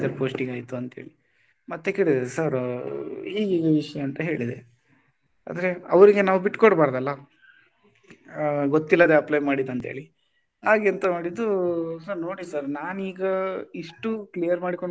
Post ಗೆ ಆಯ್ತು ಅಂತ ಹೇಳಿ ಮತ್ತೆ ಕೇಳಿದೆ sir ಹೀಗಿಗೆ ವಿಷಯ ಅಂತ ಹೇಳಿದೆ ಅಂದ್ರೆ ಅವ್ರಿಗ್ ನಾವು ಬಿಟ್ಟ್ ಕೊಡಬಾರದಲ್ಲ ಗೊತ್ತಿಲ್ಲದೇ apply ಮಾಡಿದ್ದು ಅಂತ ಹೇಳಿ ಆಗ ಎಂತ ಮಾಡಿದ್ದು ನೋಡಿ sir ನಾನು ಈಗ ಇಷ್ಟು clear ಮಾಡ್ಕೊಂಡು,